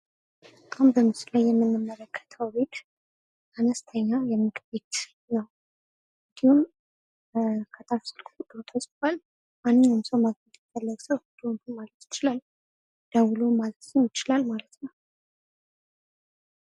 ቡና ቤቶች ብዙውን ጊዜ መክሰስና ቀላል ምግቦችን የሚያቀርቡ ሲሆን ምግብ ቤቶች ደግሞ ሙሉ ምናሌ ያላቸው የተለያዩ ምግቦችን ያቀርባሉ።